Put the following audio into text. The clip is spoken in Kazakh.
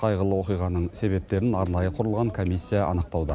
қайғылы оқиғаның себептерін арнайы құрылған комиссия анықтауда